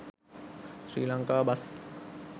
sri lanka bus